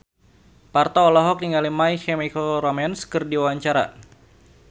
Parto olohok ningali My Chemical Romance keur diwawancara